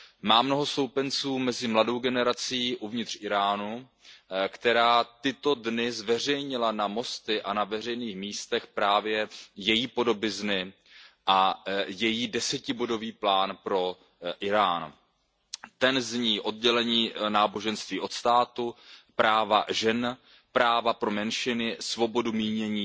Má mnoho stoupenců mezi mladou generací uvnitř Íránu, která v tyto dny zveřejnila na mostech a na veřejných místech právě její podobizny a její 10bodový plán pro Írán, ten zní oddělení náboženství od státu, práva žen, práva pro menšiny, svoboda mínění,